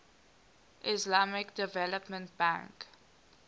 islamic development bank